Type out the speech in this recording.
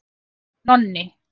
Nonni